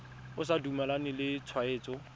o sa dumalane le tshwetso